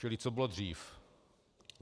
Čili co bylo dřív?